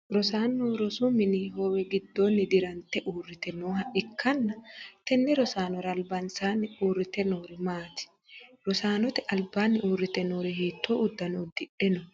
Rosaano rosu mini hoowe gidoonni dirante uurite nooha ikanna tenne rosaanora albansaanni uurite noori maati? Raanote albaanni uurite noori hiitoo udano udidhe no?